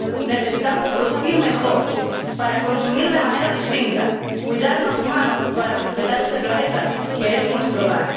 Necesitamos producir mejor para consumir de manera distinta, cuidarnos más para respetar este planeta que es nuestro hogar.